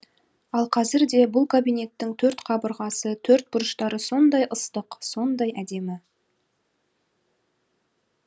ал қазірде бұл кабинеттің төрт қабырғасы төрт бұрыштары сондай ыстық сондай әдемі